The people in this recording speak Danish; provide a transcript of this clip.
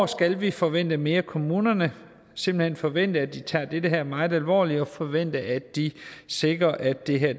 skal vi forvente mere af kommunerne simpelt hen forvente at de tager dette meget alvorligt og forvente at de sikrer at det her